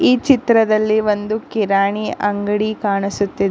ಈ ಚಿತ್ರದಲ್ಲಿ ಒಂದು ಕಿರಾಣಿ ಅಂಗಡಿ ಕಾಣಿಸುತ್ತಿದೆ.